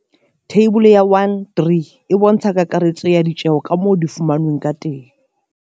Theibole ya 1 3 e bontsha kakaretso ya ditjeho ka moo di fumanweng ka teng.